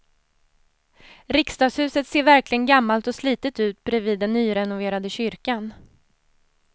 Riksdagshuset ser verkligen gammalt och slitet ut bredvid den nyrenoverade kyrkan.